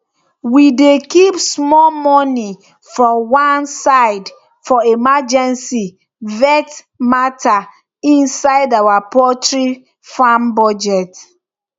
we dey keep small money for one side for emergency vet matter inside our poultry farm budget